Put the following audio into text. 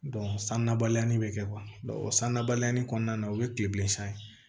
san nabaliya bɛ kɛ o san nabaliya kɔnɔna na o ye kile bilen san ye